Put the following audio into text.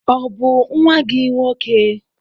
Ọ bụ nwa gị nwoke?